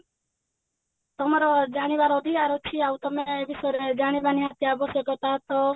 ତମର ଜାଣିବାର ଅଧିକାର ଅଛି ଆଉ ତମେ ଏଇ ବିଷୟରେ ଜାଣିବା ନିହାତି ଆବଶ୍ୟକତା ତ